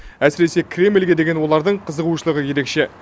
әсіресе кремльге деген олардың қызығушылығы ерекше